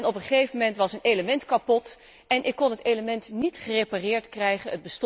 Op een gegeven moment was een element kapot en ik kon het element niet gerepareerd krijgen.